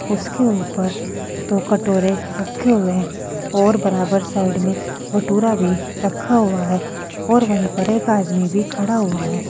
उसके ऊपर दो कटोरे रखे हुए हैं और बराबर साइड में भटूरा भी रखा हुआ है और वहीं पर एक आदमी भी खड़ा हुआ है।